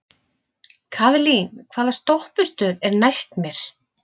Kaðlín, hvaða stoppistöð er næst mér?